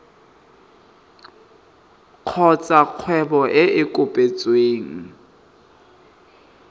kgotsa kgwebo e e kopetsweng